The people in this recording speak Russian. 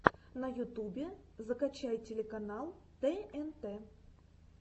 на ютубе закачай телеканал тнт